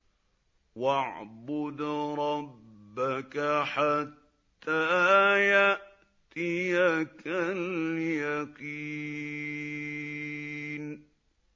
وَاعْبُدْ رَبَّكَ حَتَّىٰ يَأْتِيَكَ الْيَقِينُ